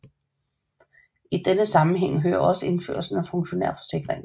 I denne sammenhæng hører også indførelsen af funktionærforsikringen